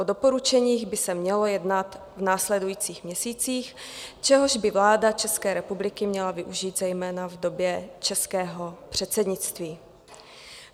O doporučeních by se mělo jednat v následujících měsících, čehož by vláda České republiky měla využít zejména v době českého předsednictví.